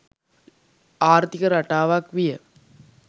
ආර්ථික රටාවක් විය